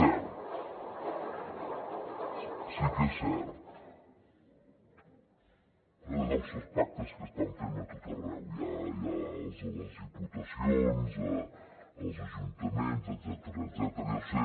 ) deuen ser els pactes que estan fent a tot arreu hi ha els de les diputacions els ajuntaments etcètera deu ser